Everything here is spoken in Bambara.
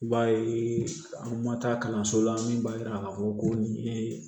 I b'a ye an ma taa kalanso la min b'a yira k'a fɔ ko nin ye